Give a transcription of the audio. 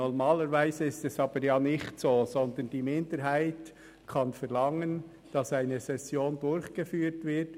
Normalerweise ist dies aber nicht der Fall, sondern die Minderheit kann verlangen, dass eine Session durchgeführt wird.